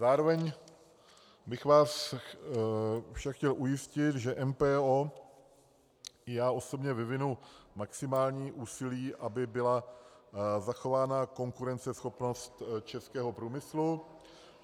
Závěrem bych vás však chtěl ujistit, že MPO i já osobně vyvineme maximální úsilí, aby byla zachována konkurenceschopnost českého průmyslu.